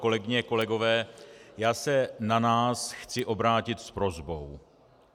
Kolegyně, kolegové, já se na nás chci obrátit s prosbou.